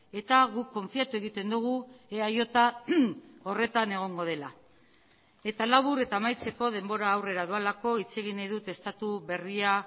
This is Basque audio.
eta guk konfiatu egiten dugu eaj horretan egongo dela eta labur eta amaitzeko denbora aurrera doalako hitz egin nahi dut estatu berria